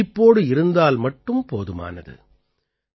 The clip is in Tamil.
நீங்கள் விழிப்போடு இருந்தால் மட்டும் போதுமானது